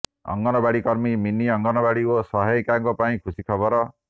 ଅଙ୍ଗନବାଡି କର୍ମୀ ମିନି ଅଙ୍ଗନବାଡି ଓ ସହାୟିକାଙ୍କ ପାଇଁ ଖୁସି ଖବର